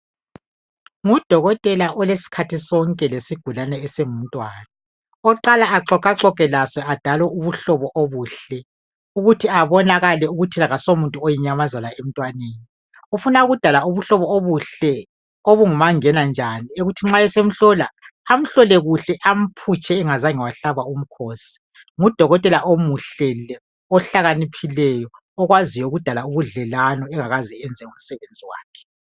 Ngudokotela olesikhathi sonke lesigulane esingumntwana oqala exoxaxoxe laso adale ubuhlobo obuhle ukuthi abonakale ukuthi asomuntu oyinyamazana emntwaneni ufuna ukudala ubuhlobo obuhle obungumangena njani okokuthi nxa semhlola amhlole kuhle amphutshe angazange wahlaba umkhosi ngudokotela omuhle lo ohlakaniphileyo okwaziyo ukudala ubudlelwano angakazi kwenza umsebenzi wakhe.